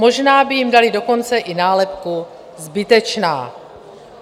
Možná by jim dali dokonce i nálepku zbytečná.